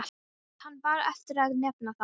Nú átti hann bara eftir að nefna það.